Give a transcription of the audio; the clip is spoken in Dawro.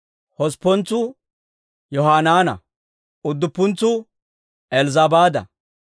hosppuntsuu Yohanaana; udduppuntsuu Elzzabaada;